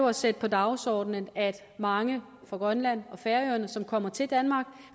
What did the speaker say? at sætte på dagsordenen at mange på grønland og færøerne som kommer til danmark